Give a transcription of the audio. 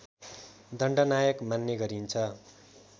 दण्डनायक मान्ने गरिन्छ